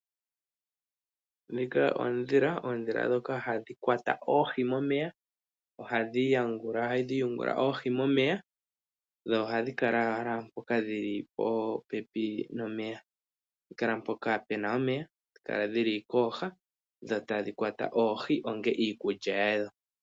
Ndhika oondhila ,oondhila ndhoka hadhi kwata oohi momeya ohadhi yungula oohi momeya dho ohadhi kala popepi nomeya hadhi kala mpoka Pena omeya hadhi kala dhili kooha tadhi kwata oohi onga iikulya yawo.